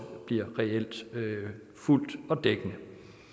reelt bliver fuldgyldigt og dækkende